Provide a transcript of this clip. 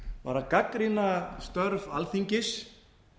var að gagnrýna störf alþingis